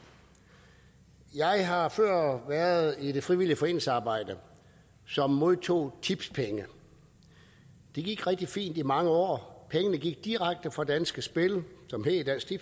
jeg har før været i det frivillige foreningsarbejde som modtog tipspenge det gik rigtig fint i mange år pengene gik direkte fra danske spil som hed dansk